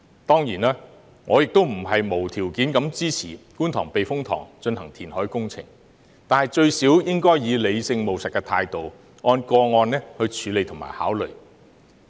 當然，我亦不是無條件地支持在觀塘避風塘進行填海工程，但最低限度也應以理性、務實的態度，按個案處理和考慮。